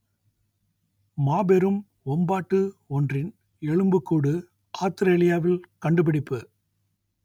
மாபெரும் வொம்பாட்டு ஒன்றின் எலும்புக்கூடு ஆத்திரேலியாவில் கண்டுபிடிப்பு